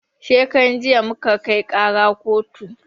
Shekaran jiya muka kai ƙaran kotu